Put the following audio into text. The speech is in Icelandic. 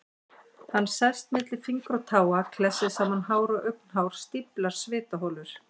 Hann sest milli fingra og táa, klessir saman hár og augnhár, stíflar svitaholur.